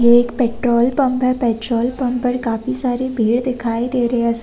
ये एक petrol pump है। पेट्रोल पंप पर काफी सारी भीड़ दिखाई दे रही --